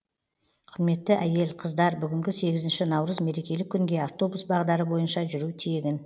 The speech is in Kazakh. құрметті әйел қыздар бүгінгі сегізінші наурыз мерекелік күнге автобус бағдары бойынша жүру тегін